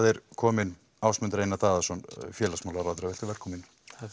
er kominn Ásmundur Einar Daðason félagsmálaráðherra velkominn